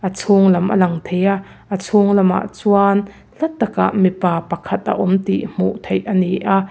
a chhunglam a lang thei a chhunglam ah chuan hla takah mipa pakhat a awm tih hmuh theih a ni a.